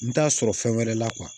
N t'a sɔrɔ fɛn wɛrɛ la